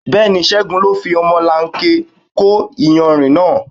Bẹ́ẹ̀ni, Ségun ló fi ọmọlanke kó iyanrìn náà.